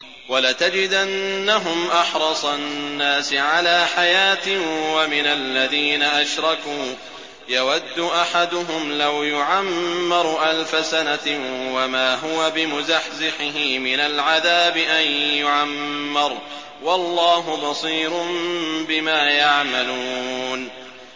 وَلَتَجِدَنَّهُمْ أَحْرَصَ النَّاسِ عَلَىٰ حَيَاةٍ وَمِنَ الَّذِينَ أَشْرَكُوا ۚ يَوَدُّ أَحَدُهُمْ لَوْ يُعَمَّرُ أَلْفَ سَنَةٍ وَمَا هُوَ بِمُزَحْزِحِهِ مِنَ الْعَذَابِ أَن يُعَمَّرَ ۗ وَاللَّهُ بَصِيرٌ بِمَا يَعْمَلُونَ